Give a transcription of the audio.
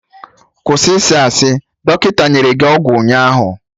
Kwụsị isi asị! Dọkịta nyere gị ọgwụ ụnyaahụ